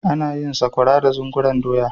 ana yin sakwara da zungurun doya